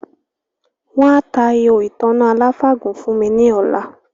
Wọ́n á ta “ihò ìtanná aláfàgùn” fún mi ní ọlá